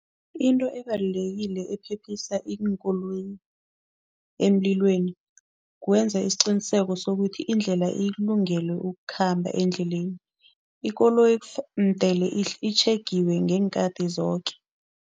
Into ebalulekile ephephisa iinkoloyi emlilweni, kwenza isiqiniseko sokuthi indlela ilungele ukukhamba endleleni ikoloyi mdele itjhegiwe ngeenkhathi zoke.